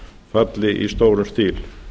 falli í stórum stíl